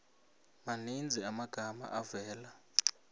maninzi amagama avela